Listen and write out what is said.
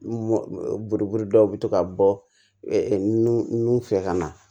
Buruburu dɔw bɛ to ka bɔ nu nu fɛ ka na